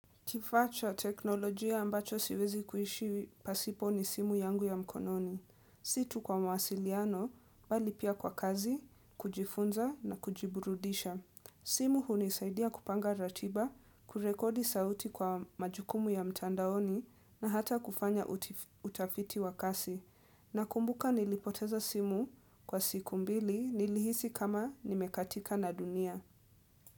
Kifaa cha teknolojia ambacho siwezi kuishi pasipo ni simu yangu ya mkononi. Si tu kwa mawasiliano, bali pia kwa kazi, kujifunza na kujiburudisha. Simu hunisaidia kupanga ratiba, kurekodi sauti kwa majukumu ya mtandaoni na hata kufanya utafiti wa kasi. Nakumbuka nilipoteza simu kwa siku mbili nilihisi kama nimekatika na dunia.